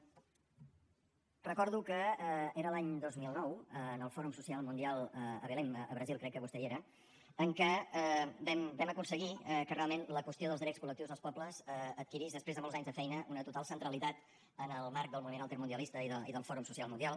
recordo que era l’any dos mil nou en el fòrum social mundial a belém a brasil crec que vostè hi era en què vam aconseguir que realment la qüestió dels drets col·lectius dels pobles adquirís després de molts anys de feina una total centralitat en el marc del moviment altermundialista i del fòrum social mundial